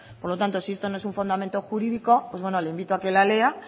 por lo tanto si esto no es un fundamento jurídico pues bueno le indico a que la lea